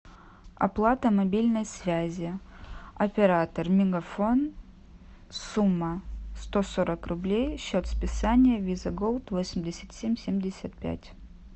оплата мобильной связи оператор мегафон сумма сто сорок рублей счет списания виза голд восемьдесят семь семьдесят пять